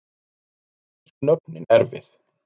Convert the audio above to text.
Íslensku nöfnin erfið